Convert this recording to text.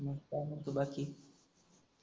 काय मनत बाकी?